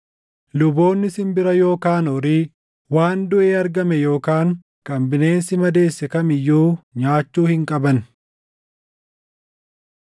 Luboonni simbira yookaan horii, waan duʼee argame yookaan kan bineensi madeesse kam iyyuu nyaachuu hin qaban.